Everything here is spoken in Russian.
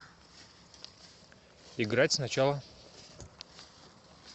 играть сначала